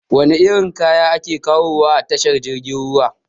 Wana irin kaya ake kawowa a tashar jirgin ruwa?